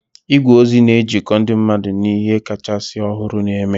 Igwe ozi na-ejikọ ndị mmadụ na ihe kachasị ọhụrụ na-eme